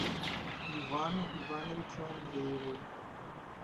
ивану ивановичу андрееву